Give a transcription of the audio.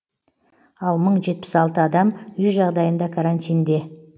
ал мың жетпіс алты адам үй жағдайында карантинде